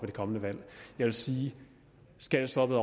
det kommende valg jeg vil sige at skattestoppet